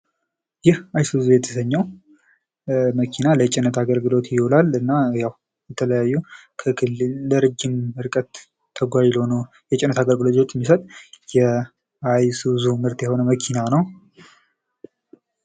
ይህ አይሱዚ የተባለው መኪና ለጭነት አገልግሎት ይውላል። የተለያዩ ከክልል የረጅም ርቀት ተጓዥ ለሆነው የጭነት አገልግሎት የሚሰጥ የአይሱዙ መኪና ምርት የሆነው መኪና ነው።